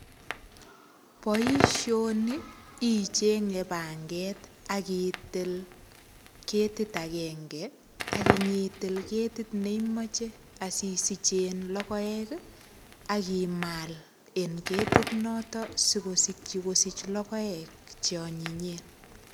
Boisioni ichenge panget ak itil ketit agenge ak inyiitil ne imoche asisich in logoek ii ak imal en ketit nito sigoakyi kosich logoek che anyinyen.